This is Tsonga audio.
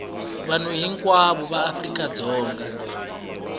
vanhu hinkwavo va afrika dzonga